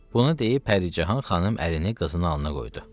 Bunu deyib Pəricahan xanım əlini qızının alnına qoydu.